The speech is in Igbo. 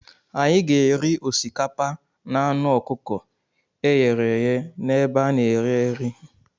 Anyị ga-eri osikapa na anụ ọkụkọ e ghere eghe n'ebe a na-ere nri.